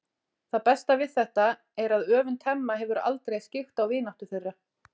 Það besta við þetta er að öfund Hemma hefur aldrei skyggt á vináttu þeirra.